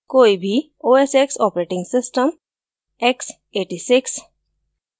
कोई भी os x operating system x86